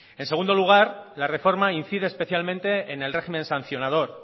en segundo lugar la reforma incide especialmente en el régimen sancionador